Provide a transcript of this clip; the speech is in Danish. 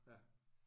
Ja